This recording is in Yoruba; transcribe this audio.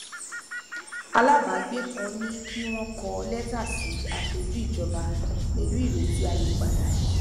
alábàágbé kan ní kí wọn kọ lẹtà sí aṣojú ìjọba pẹlú ireti àyípadà